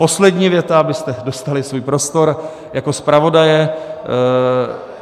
Poslední věta, abyste dostali svůj prostor, jako zpravodaje.